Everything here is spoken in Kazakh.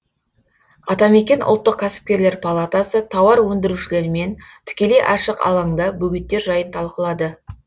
атамекен ұлттық кәсіпкерлер палатасы тауар өндірушілермен тікелей ашық алаңда бөгеттер жайын талқылады